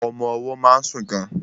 Ọmọ ọwọ́ má ń sùn gan.